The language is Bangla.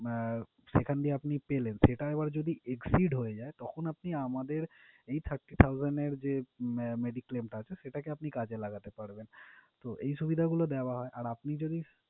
আহ সেখান দিয়ে আপনি পেলেন সেটা আবার যদি exceed হয়ে যায় তখন আপনি আমাদের এই thirty thousand এর যে medi-claim টা আছে সেটাকে আপনি কাজে লাগাতে পারবেন। তো এই সুবিধাগুলো দেওয়া হয় আর আপনি যদি,